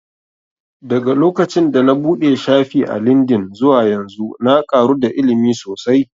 Daga lokacin da na buɗe shafi a lindin zuwa yanzu na ƙaru da ilimi sosai